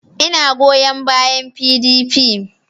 Ina goyon bayan PDP